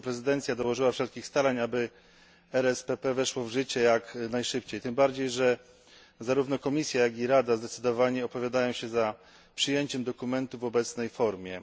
Polska prezydencja dołożyła wszelkich starań, aby RSPP weszło w życie jak najszybciej, tym bardziej że zarówno Komisja, jak i Rada opowiadają się za przyjęciem dokumentu w obecnej formie.